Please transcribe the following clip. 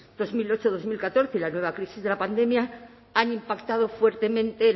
dos mil ocho dos mil catorce y la nueva crisis de la pandemia han impactado fuertemente en